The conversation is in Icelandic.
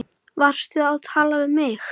Varstu að tala við mig?